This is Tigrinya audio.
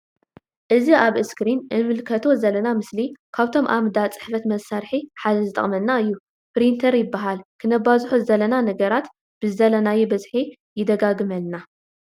እዚ ኣብ እስክሪን እንምልከቶ ዘለና ምስሊ ካብቶም ኣብ ዳ ጽሕፈት መሳርሒ ሓደ ዝጠቅመና እዩ። ፕሪንተር ይበሃል ክነባዝሖ ዝደለና ነገራት ብዝደለናዮ በዝሒ ይደጋግመልና።